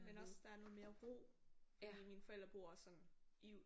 Men også der er noget mere ro. Mine forældre de bor sådan i